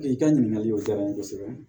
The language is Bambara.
I ka ɲininkaliw diyara n ye kosɛbɛ